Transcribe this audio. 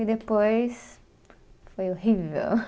E depois foi horrível.